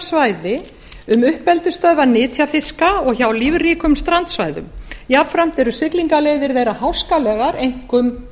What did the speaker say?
svæði um uppeldisstöðvar nytjafiska og hjá lífríkum strandsvæðum jafnframt eru siglinga leiðir meira háskalegar einkum